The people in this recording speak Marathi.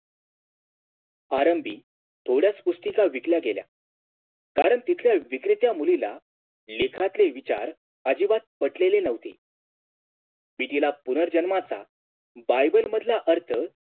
प्रारंभी थोड्याच पुस्तिका विकल्या गेल्या कारण तिथल्या विक्रेता मुलीला लेखनातले विचार आजिबात पटलेले नव्हते मी तिला पुनर्जन्माचा Bible मधला अर्थ